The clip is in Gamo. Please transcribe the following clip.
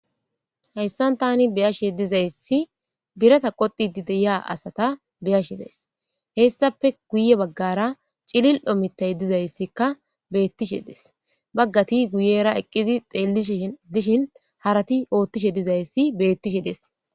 Hayssan tani beyashe dizaysi birata qoxidi deyiya asata beyashe dees hessafe guye baggara cilil omitay dizayssikka beettishe des baggati guyera eqqizi xeellishi dishin harati oothtishe dizayssi beettishe des.